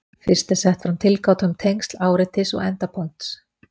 Fyrst er sett fram tilgáta um tengsl áreitis og endapunkts.